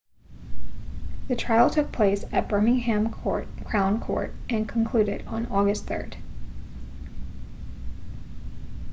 the trial took place at birmingham crown court and concluded on august 3